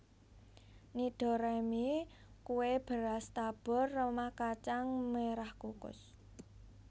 Nidoraemi kue beras tabur remah kacang merah kukus